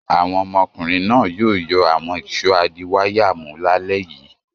Àwọn ọmọkùnrin náà yóò yọ àwọn ìṣó adiwáyàmú lálẹ́ yìí.